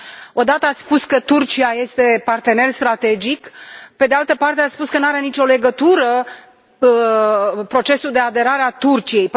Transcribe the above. O dată ați spus că Turcia este partener strategic, pe de altă parte ați spus că nu are nicio legătură procesul de aderare a Turciei.